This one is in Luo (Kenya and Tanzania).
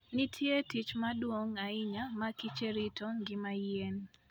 Nitie tich maduong' ahinya ma kiche rito ngima yien.